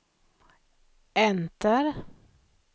enter